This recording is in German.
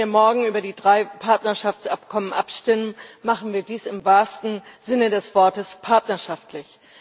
Wenn wir morgen über die drei Partnerschaftsabkommen abstimmen, machen wir dies im wahrsten Sinne des Wortes partnerschaftlich.